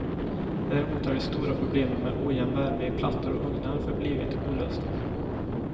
Däremot har de stora problemen med ojämn värme i plattor och ugnar förblivit olösta.